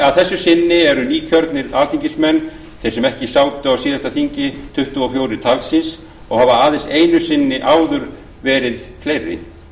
að þessu sinni eru nýkjörnir alþingismenn þeir sem ekki sátu á síðasta þingi tuttugu og fjögur talsins og hafa aðeins einu sinni áður verið fleiri